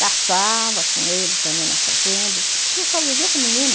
Caçava com ele também na fazenda, porque eu só vivia com menino.